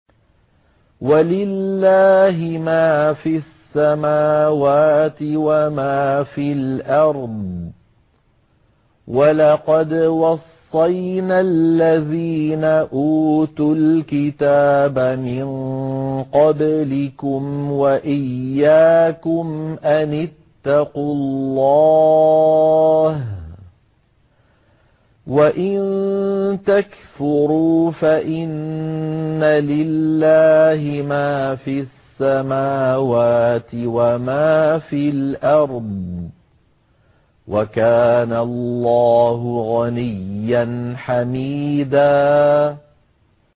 وَلِلَّهِ مَا فِي السَّمَاوَاتِ وَمَا فِي الْأَرْضِ ۗ وَلَقَدْ وَصَّيْنَا الَّذِينَ أُوتُوا الْكِتَابَ مِن قَبْلِكُمْ وَإِيَّاكُمْ أَنِ اتَّقُوا اللَّهَ ۚ وَإِن تَكْفُرُوا فَإِنَّ لِلَّهِ مَا فِي السَّمَاوَاتِ وَمَا فِي الْأَرْضِ ۚ وَكَانَ اللَّهُ غَنِيًّا حَمِيدًا